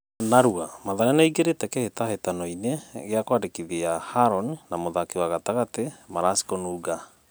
(Narua) Mathare nĩĩingĩrĩte kĩhĩtahĩtanoinĩ gĩa kwandĩkithia Harũni na mũthaki wa gatagatĩ Maraci Kununga.